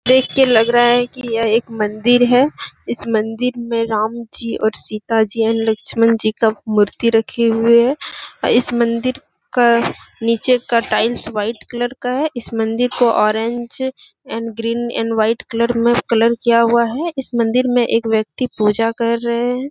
देख कर लग रहा है की ये एक मंदिर है इस मंदिर में राम जी और सीता जी एंड लक्ष्मण जी का मूर्ति रखे हुए है इस मंदिर का निचे का टाइल्स वाइट कलर का है इस मंदिर का orange and green and white colour में कलर किया हुआ है इस मंदिर में एक व्यक्ति पूजा कर रहे हैं।